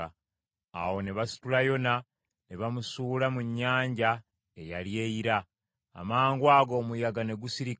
Awo ne basitula Yona ne bamusuula mu nnyanja eyali eyira. Amangwago omuyaga ne gusirika.